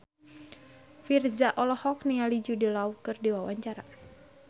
Virzha olohok ningali Jude Law keur diwawancara